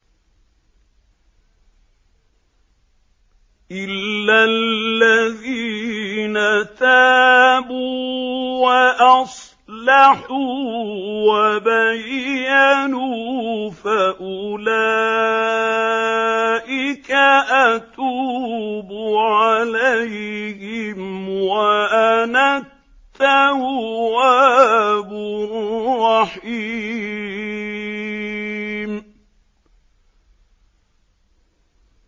إِلَّا الَّذِينَ تَابُوا وَأَصْلَحُوا وَبَيَّنُوا فَأُولَٰئِكَ أَتُوبُ عَلَيْهِمْ ۚ وَأَنَا التَّوَّابُ الرَّحِيمُ